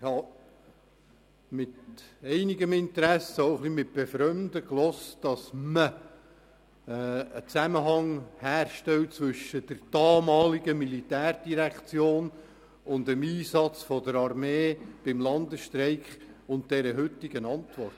Ich habe mit einigem Interesse und auch ein bisschen mit Befremden gehört, dass man einen Zusammenhang herstellt zwischen der damaligen Militärdirektion und dem Einsatz der Armee beim Landesstreik und der heutigen Antwort.